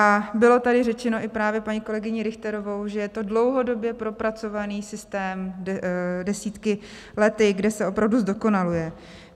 A bylo tady řečeno i právě paní kolegyní Richterovou, že je to dlouhodobě propracovaný systém desítkami let, kde se opravdu zdokonaluje.